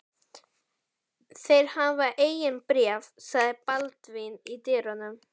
Þeir hafa engin bréf, sagði Baldvin í dyrunum.